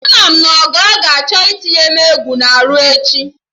Ama m na Ogo ga-achọ itinye m egwu na-arụ echi